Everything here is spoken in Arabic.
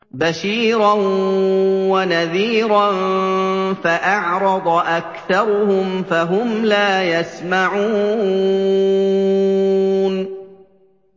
بَشِيرًا وَنَذِيرًا فَأَعْرَضَ أَكْثَرُهُمْ فَهُمْ لَا يَسْمَعُونَ